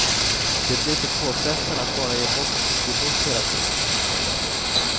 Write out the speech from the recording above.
Det blev så påfrestande att bara ge bort och ge bort hela tiden.